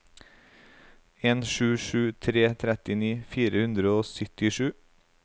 en sju sju tre trettini fire hundre og syttisju